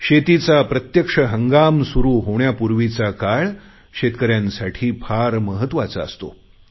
शेतीचा प्रत्यक्ष हंगाम सुरु होण्यापूर्वीचा काळ शेतकऱ्यांसाठी फार महत्वाचा असतो